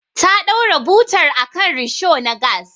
Ta ɗora butar akan risho na gas.